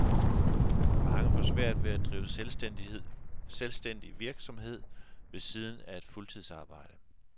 Mange får svært ved at drive selvstændig virksomhed ved siden af et fuldtidsarbejde.